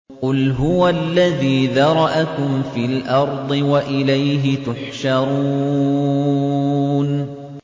قُلْ هُوَ الَّذِي ذَرَأَكُمْ فِي الْأَرْضِ وَإِلَيْهِ تُحْشَرُونَ